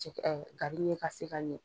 Cɛ gari ɲɛ ka se ka ɲɛ